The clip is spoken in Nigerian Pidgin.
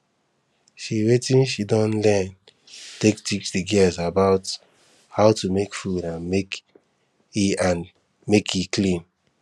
she watin she don learn take teach the girls about how to make food and make e and make e clean